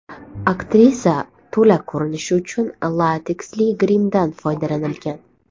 Aktrisa to‘la ko‘rinishi uchun lateksli grimdan foydalanilgan.